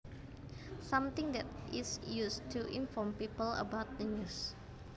Something that is used to inform people about the news